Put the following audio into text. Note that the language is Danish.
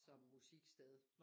Som musiksted